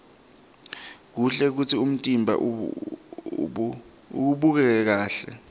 kuhle kutsi umtimba ubukeke kahle